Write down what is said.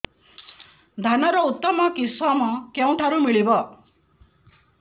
ଧାନର ଉତ୍ତମ କିଶମ କେଉଁଠାରୁ ମିଳିବ